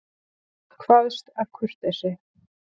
Kvaðst af kurteisi.